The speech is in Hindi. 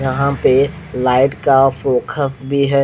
यह पे लाइट का फोकास भी है।